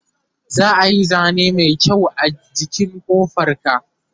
za'a Yi zane Mai kyau a jikin ƙofar ga